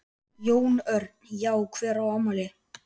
Jón Örn: Já hver á afmæli?